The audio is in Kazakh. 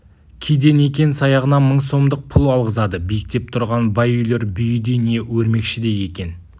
кейде некен-саяғына мың сомдық пұл алғызады биіктеп тұрған бай үйлер бүйідей не өрмекшідей екен